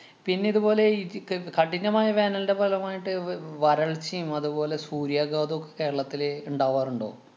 പിന്നെ ഇതുപോലെ ഈ ജിക്ക് കഠിനമായ വേനലിന്‍റെ ഫലമായിട്ട്‌ വ്~ വരള്‍ച്ചേം അതുപോലെ സൂര്യാഘാതോക്കെ കേരളത്തില് ഇണ്ടാവാറുണ്ടോ?